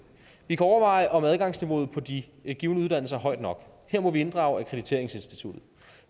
vi kan overveje om adgangskravet på de givne uddannelser er højt nok her må vi inddrage danmarks akkrediteringsinstitution